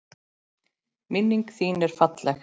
Minning þin er falleg.